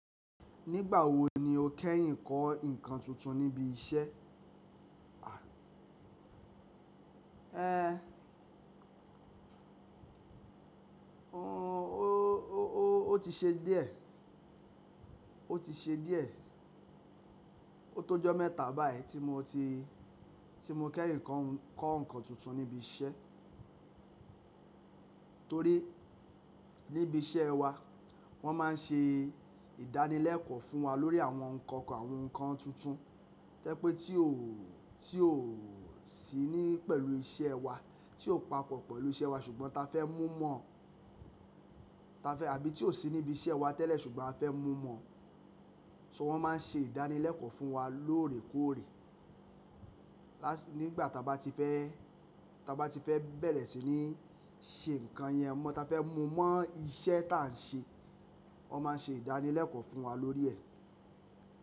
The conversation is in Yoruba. Nígbà wo ni o kẹ́yìn kọ́ ǹnkan tuntun níbi iṣẹ́? A, ẹ, o, o, o ti ṣe díẹ̀, o ti ṣe díẹ̀. O tó jọ́ mẹ́ta báyìí tí mo ti, tí mo kẹ́yìn kọ́, kọ́ ǹkan tuntun níbi iṣẹ́. Torí níbi iṣẹ́ wa wọ́n máa ń ṣe ìdánilẹ́kọ̀ọ́ fún wa lórí àwọn nkankan, àwọn ǹkan tuntun. Tẹ́ pé tí ò, tí ò sí ní pẹ̀lú iṣẹ́ wa, tí ò papọ̀ pẹ̀lú iṣẹ́ wa ṣùgbọ́n ta fẹ́ mú mọ̀, ta fẹ́ àbí tí ò sí níbi iṣẹ́ wa tẹ́lẹ̀ ṣùgbọ́n a fẹ́ mú mọ̀. So wọ́n máa ń ṣe ìdánilẹ́kọ̀ọ́ fún wa lóòrèkóòrè. Lá, nígbà ta bá ti fẹ́, ta bá ti fẹ́ bẹ̀rẹ̀ sí ní ṣe ǹkan yẹn mọ́, ta fẹ́ mú mọ̀ iṣẹ́ tá ń ṣe, wọ́n máa ń ṣe ìdánilẹ́kọ̀ọ́ fún wa lórí ẹ̀.